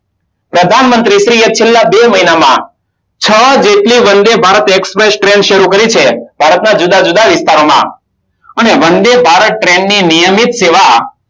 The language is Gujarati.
પ્રધાનમંત્રી શ્રીએ ચેલા બે મહિનામાં છ જેટલી વંદે ભારત express train શરુ કરી છે ભારતના જુદા જુદા વિસ્તારોમા અને વંદે ભારત ની નિયમિત સેવા